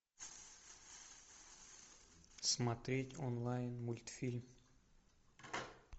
смотреть онлайн мультфильм